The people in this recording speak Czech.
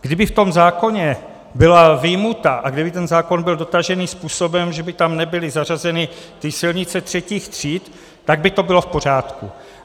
Kdyby v tom zákoně byla vyjmuta a kdyby ten zákon byl dotažený způsobem, že by tam nebyly zařazeny ty silnice třetích tříd, tak by to bylo v pořádku.